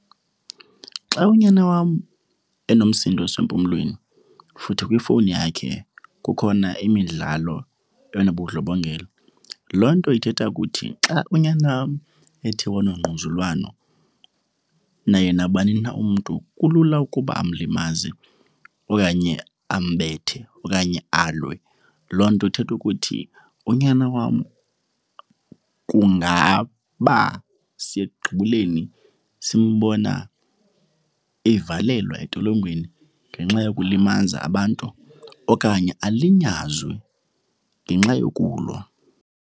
Xa unyana wam enomsindo osempumlweni futhi kwifowuni yakhe kukhona imidlalo enobundlobongela, loo nto ithetha ukuthi xa unyana wam ethe wanogquzulwano naye nabani na umntu, kulula ukuba amlimaze okanye ambethe okanye alwe. Loo nto ithetha ukuthi unyana wam kungaba siya ekugibeleni simbona evalelwa etolongweni ngenxa yokulimaza abantu okanye alinyazwe ngenxa yokulwa.